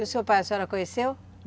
E o seu pai a senhora conheceu?